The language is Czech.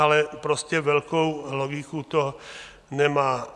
Ale prostě velkou logiku to nemá.